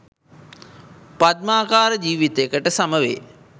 පද්මාකාර ජීවිතයකට සමවේ.